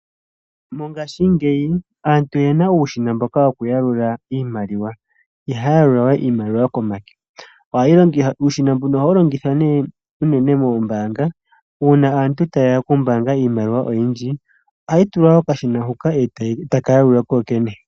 Mongashingeyi aantu oyena uushina woku yalula iimaliwa. Ihaya yalula we iimaliwa komake. Uushina mbuno ohawu longithwa nee uunene moombanga una aantu tayeya okumbanga iimaliwa oyindji ohayi tulwa kokashina huka etaka yalula kokene.